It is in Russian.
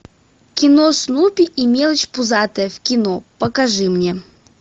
кино снупи и мелочь пузатая в кино покажи мне